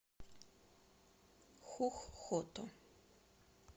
хух хото